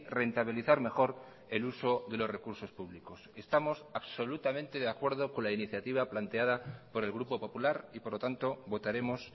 rentabilizar mejor el uso de los recursos públicos estamos absolutamente de acuerdo con la iniciativa planteada por el grupo popular y por lo tanto votaremos